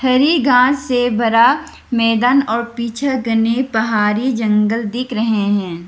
हरी घास से भरा मैदान और पीछे घने पहाड़ी जंगल दिख रहे हैं।